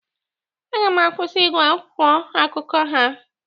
Aga m akwụsị ịgwụ akwụkwọ akụkọ ha.